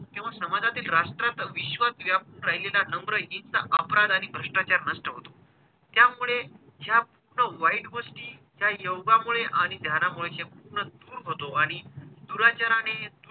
तेव्हा समाजातील राष्ट्रात विश्वात व्यापून राहिलेला नम्रहीनता, अपराध आणि भष्ट्राचार नष्ट होतो. त्यामुळे जास्त वाईट गोष्टी त्या योगामुळे आणि ध्यानामुळे संपूर्ण दूर होतो आणि दुराचाराने,